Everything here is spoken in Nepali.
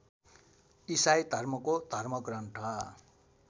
इसाई धर्मको धर्मग्रन्थ